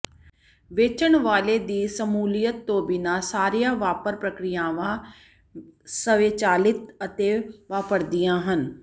ਵੇਚਣ ਵਾਲੇ ਦੀ ਸ਼ਮੂਲੀਅਤ ਤੋਂ ਬਿਨਾਂ ਸਾਰੀਆਂ ਵਪਾਰ ਪ੍ਰਕ੍ਰਿਆਵਾਂ ਸਵੈਚਾਲਿਤ ਅਤੇ ਵਾਪਰਦੀਆਂ ਹਨ